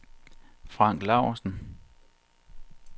Frank Lausen